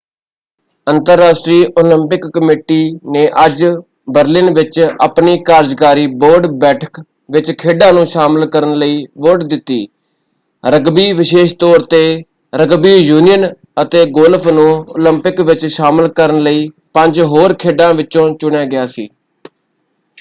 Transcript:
ਅੰਤਰਰਾਸ਼ਟਰੀ Olympic committee ਨੇ ਅੱਜ ਬਰਲਿਨ ਵਿੱਚ ਆਪਣੀ ਕਾਰਜਕਾਰੀ ਬੋਰਡ ਬੈਠਕ ਵਿੱਚ ਖੇਡਾਂ ਨੂੰ ਸ਼ਾਮਲ ਕਰਨ ਲਈ ਵੋਟ ਦਿੱਤੀ। ਰਗਬੀ ਵਿਸ਼ੇਸ਼ ਤੌਰ ‘ਤੇ ਰਗਬੀ ਯੂਨੀਅਨ ਅਤੇ ਗੋਲਫ ਨੂੰ ਓਲੰਪਿਕ ਵਿੱਚ ਸ਼ਾਮਲ ਕਰਨ ਲਈ ਪੰਜ ਹੋਰ ਖੇਡਾਂ ਵਿਚੋਂ ਚੁਣਿਆ ਗਿਆ ਸੀ।